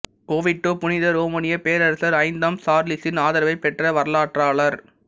Oviedo புனித ரோமானிய பேரரரசர் ஐந்தாம் சார்லஸின் ஆதரவை பெற்ற வரலாற்றாளர்